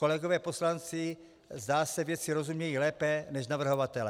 Kolegové poslanci, zdá se, věci rozumějí lépe než navrhovatelé.